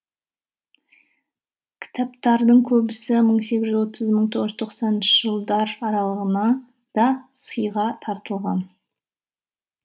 кітаптардың көбісі мың сегіз жүз отыз мың тоғыз жүз тоққсаныншы жылдар сыйға тартылған